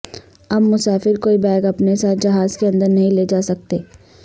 اب مسافر کوئی بیگ اپنے ساتھ جہاز کے اندر نہیں لے جاسکتے